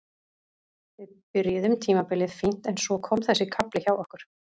Við byrjuðum tímabilið fínt en svo kom þessi kafli hjá okkur.